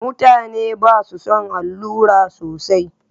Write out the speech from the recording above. Mutane ba su son allura sosai.